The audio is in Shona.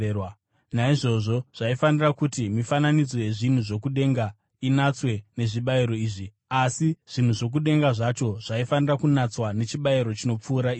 Naizvozvo zvaifanira kuti mifananidzo yezvinhu zvokudenga inatswe nezvibayiro izvi, asi zvinhu zvokudenga zvacho zvaifanira kunatswa nechibayiro chinopfuura izvi.